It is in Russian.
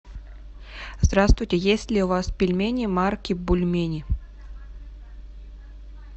здравствуйте есть ли у вас пельмени марки бульмени